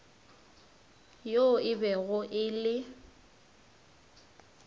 yoo e bego e le